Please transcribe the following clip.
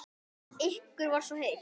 Ykkur var svo heitt.